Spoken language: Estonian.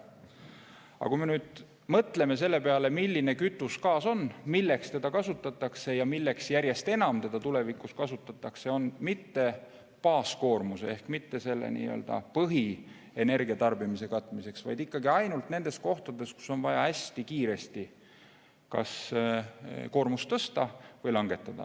Aga kui me mõtleme selle peale, milline kütus gaas on, milleks seda kasutatakse ja milleks seda järjest enam tulevikus kasutatakse, siis, et seda mitte baaskoormuse ehk mitte nii-öelda põhienergiatarbimise katmiseks, vaid ikkagi ainult nendes kohtades, kus on vaja hästi kiiresti kas koormust tõsta või langetada.